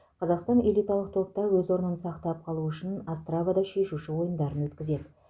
қазақстан элиталық топта өз орнын сақтап қалу үшін остравада шешуші ойындарын өткізеді